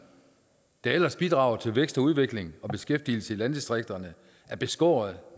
der ellers bidrager til vækst og udvikling og beskæftigelse i landdistrikterne er beskåret